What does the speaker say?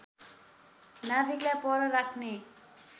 नाभिकलाई पर राख्ने